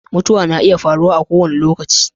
mutuwa na iya faruwa a ko wani lokaci